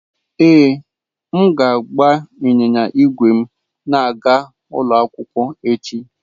Ee, m ga-agba ịnyịnya ígwè m na-aga ụlọ akwụkwọ echi.